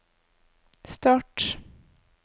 start